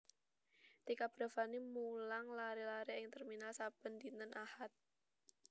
Tika Bravani mulang lare lare ing terminal saben dinten Ahad